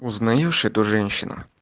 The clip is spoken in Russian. узнаешь эту женщину